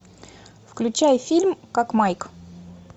включай фильм как майк